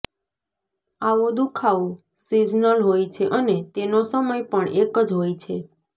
આવો દુઃખાવો સીઝનલ હોય છે અને તેનો સમય પણ એક જ હોય છે